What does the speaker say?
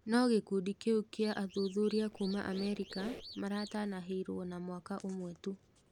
No gĩkundi kĩu gĩa athuthuria kuma Amerika maratanahĩirwo na mwaka ũmwe tu.